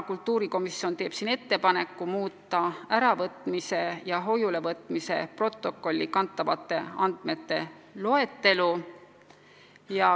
Kultuurikomisjon teeb ettepaneku muuta äravõtmise ja hoiulevõtmise protokolli kantavate andmete loetelu.